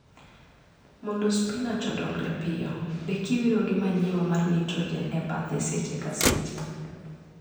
Mondo spinach odongre piyo, be kiwiro gi manure mar nitrogen e bathe seche ka seche.